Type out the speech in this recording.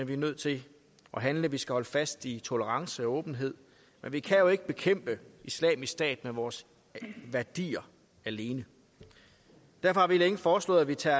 vi er nødt til at handle vi skal holde fast i tolerance og åbenhed men vi kan jo ikke bekæmpe islamisk stat med vores værdier alene derfor har vi længe foreslået at vi tager